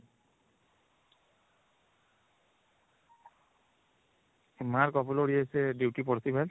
mark upload ୟେ ସେ duty ପଡିଥିବା